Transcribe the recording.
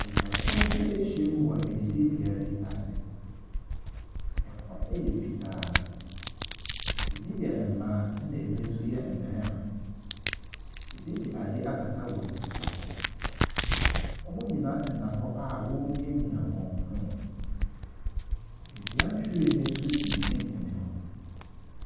Nipakuw bi ahyia mu wɔ adidibea bi ase. Ɛhɔ yɛ fitaa. Ɛbi yɛ mmaa, ɛna ɛbi nso yɛ mmarima. Ɛbi de adeɛ akata wɔn ti so. Wɔn nyinaa te hɔ a wɔremiamia wɔn phone. Dua nhwiren bi nso si mfimfini hɔ.